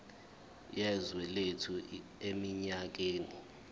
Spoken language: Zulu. yezwe lethu eminyakeni